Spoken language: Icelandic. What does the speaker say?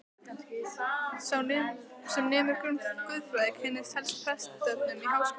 Sá sem nemur guðfræði, kynnist helst prestsefnum í háskóla.